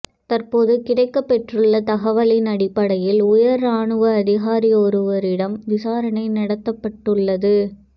தற்போது கிடைக்கப் பெற்றுள்ள தகவல்களின் அடிப்படையில் உயர் இராணுவ அதிகாரியொருவரிடம் விசாரணை நடத்தப்பட்டுள்ளது